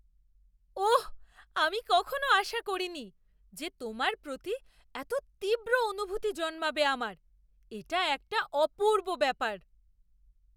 ওঃ! আমি কখনও আশা করিনি যে তোমার প্রতি এত তীব্র অনুভূতি জন্মাবে আমার। এটা একটা অপূর্ব ব্যাপার।